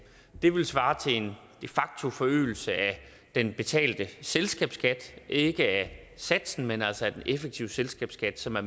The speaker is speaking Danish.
det ville svare til en de facto forøgelse af den betalte selskabsskat ikke af satsen men altså af den effektive selskabsskat som er